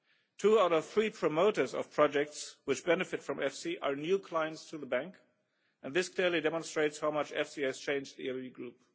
Two out of three promoters of projects which benefit from EFSI are new clients to the bank, and this clearly demonstrates how much EFSI has changed the EIB group.